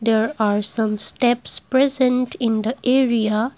there are some steps present in the area.